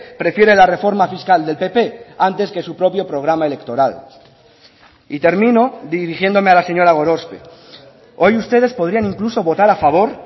prefiere la reforma fiscal del pp antes que su propio programa electoral y termino dirigiéndome a la señora gorospe hoy ustedes podrían incluso votar a favor